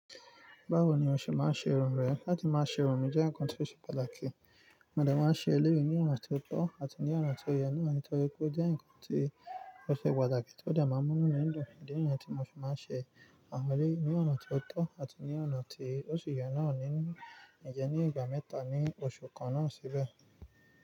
Báwo ni o ṣe máa ṣe irun rẹ? Láti máa ṣe irun mi jẹ́ ǹkan tó ṣe pàtàkì. Mo de máa ṣe eléyìí ní ọ̀nà tó tọ́ àti ní ọ̀nà tó yẹ nítorí pé ó jẹ́ ǹkan tí ó ṣe pàtàkì tó dé máa mú inumídun. Ìdí niyẹ́n tí mo fí máa ń ṣe àwọn eleyii ní ọ̀nà tó tọ́ àti ní ọ̀nà tí ó ṣì yẹ náà nínú, n jẹ́ ní ìgbà mẹ́ta ní oṣù kan náà síbẹ̀.